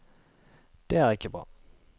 Det er ikke bra.